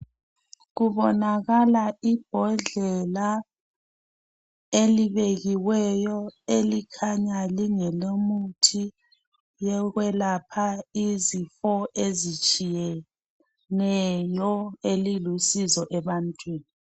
Kubonakala ibhodlela elibekiweyo elikhanya lingelomuthi yokwelapha izifo ezitshiyeneyo ezilusizo ebantwini.